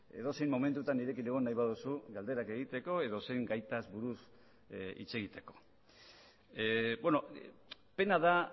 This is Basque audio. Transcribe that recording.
edozein momentutan nirekin egon nahi baduzu galderak egiteko edozein gaitaz buruz hitz egiteko pena da